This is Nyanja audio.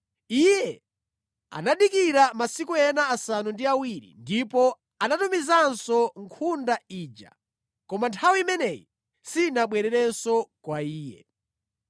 Iye anadikira masiku ena asanu ndi awiri ndipo anatumizanso nkhunda ija, koma nthawi imeneyi sinabwererenso kwa iye.